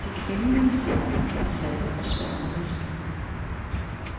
De kvindelige stjerner var satte og sværmeriske.